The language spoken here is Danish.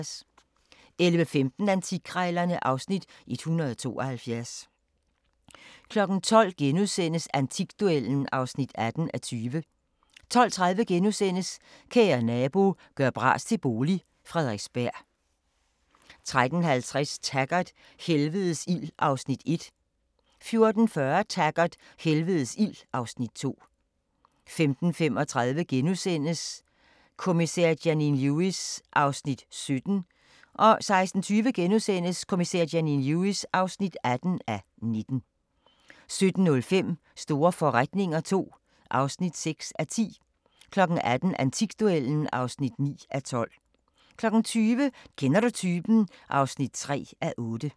11:15: Antikkrejlerne (Afs. 172) 12:00: Antikduellen (18:20)* 12:30: Kære nabo – gør bras til bolig – Frederiksberg * 13:50: Taggart: Helvedes ild (Afs. 1) 14:40: Taggart: Helvedes ild (Afs. 2) 15:35: Kommissær Janine Lewis (17:19)* 16:20: Kommissær Janine Lewis (18:19)* 17:05: Store forretninger II (6:10) 18:00: Antikduellen (9:12) 20:00: Kender du typen? (3:8)